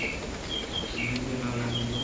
ಇನ್ನ್ ಮುಂದೆ ನಾವೇನಾದ್ರೂ